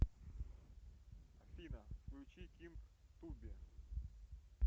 афина включи кинг туби